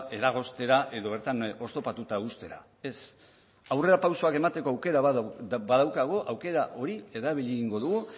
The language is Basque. eragoztera edo bertan oztopatuta uztera ez aurrerapausoak emateko aukera badaukagu aukera hori erabili egingo dugu